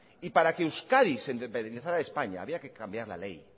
y para que euskadi se independizara de españa habría que cambiar la ley